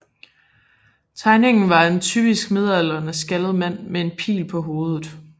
Tegningen var af en typisk midaldrende skaldet mand med en pil på hovedet